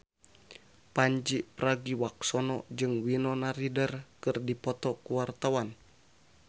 Pandji Pragiwaksono jeung Winona Ryder keur dipoto ku wartawan